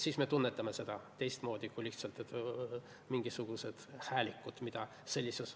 Siis me tunnetame seda teistmoodi kui lihtsalt mingisuguseid häälikuid.